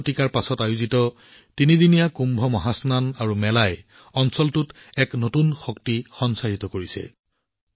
সাত শতিকাৰ পিছত তিনিদিনীয়া কুম্ভ মহাচনন আৰু মেলাখনে অঞ্চলটোত এক নতুন শক্তি সঞ্চাৰিত কৰিছে